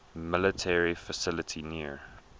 military facility near